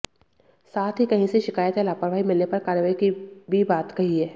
साथ ही कहीं से शिकायत या लापरवाही मिलने पर कार्रवाई की भी बात कही है